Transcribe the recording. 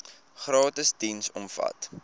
gratis diens omvat